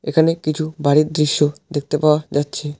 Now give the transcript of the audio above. এখানে কিছু বাড়ির দৃশ্য দেখতে পাওয়া যাচ্ছে।